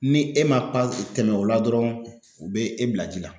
Ni e ma tɛmɛ o la dɔrɔn u be e bila ji la